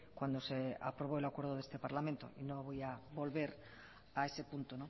cuando se aprobó el acuerdo de este parlamento no voy a volver a ese punto